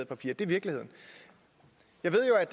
papirer det er virkeligheden jeg ved jo at